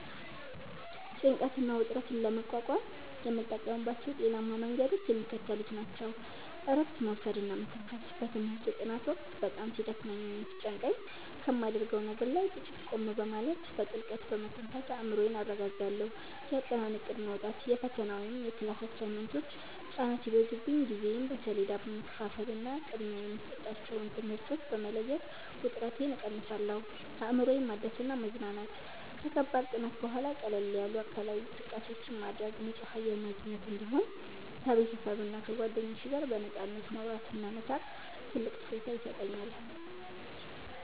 ጭንቀትና ውጥረትን ለመቋቋም የምጠቀምባቸው ጤናማ መንገዶች የሚከተሉት ናቸው፦ እረፍት መውሰድና መተንፈስ፦ በትምህርት ጥናት ወቅት በጣም ሲደክመኝ ወይም ሲጨንቀኝ ከማደርገው ነገር ላይ ጥቂት ቆም በማለት፣ በጥልቀት በመተንፈስ አእምሮዬን አረጋጋለሁ። የአጠናን እቅድ ማውጣት፦ የፈተና ወይም የክላስ አሳይመንቶች ጫና ሲበዙብኝ ጊዜዬን በሰሌዳ በመከፋፈልና ቅድሚያ የሚሰጣቸውን ትምህርቶች በመለየት ውጥረቴን እቀንሳለሁ። አእምሮን ማደስና መዝናናት፦ ከከባድ ጥናት በኋላ ቀለል ያሉ አካላዊ እንቅስቃሴዎችን ማድረግ፣ ንጹህ አየር ማግኘት፣ እንዲሁም ከቤተሰብና ከጓደኞች ጋር በነፃነት ማውራትና መሳቅ ትልቅ እፎይታ ይሰጠኛል።